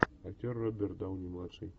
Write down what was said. актер роберт дауни младший